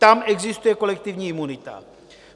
Tam existuje kolektivní imunita.